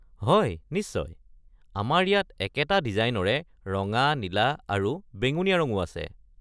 হয় নিশ্চয়, আমাৰ ইয়াত একেটা ডিজাইনৰে ৰঙা, নীলা আৰু বেঙুনীয়া ৰঙো আছে।